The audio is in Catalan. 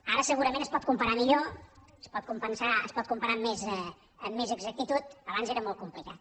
ara segurament es pot comparar millor es pot comparar amb més exactitud abans era molt complicat